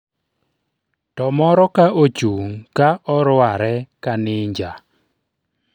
to moro ka ochung' ka orware ka ninja